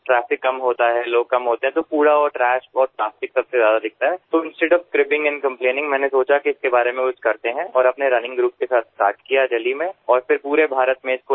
લોકો ઓછા હોય છે તો કચરો અને પ્લાસ્ટિક સૌથી વધુ દેખાય છે તો instead of cribbing and complaining મેં વિચાર્યું કે તેના વિશે કંઈક કરીએ અને પોતાના રનિંગ ગ્રૂપ સાથે સ્ટાર્ટ કર્યું દિલ્લીમાં અને પછી સમગ્ર ભારતમાં તેને લઈને ગયો